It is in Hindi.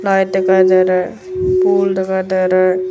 लाइट दिखाई दे रहा है फूल दिखाई दे रहा है।